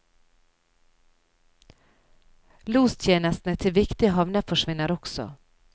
Lostjenestene til viktige havner forsvinner også.